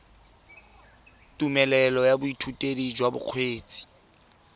tumelelo ya boithutedi jwa bokgweetsi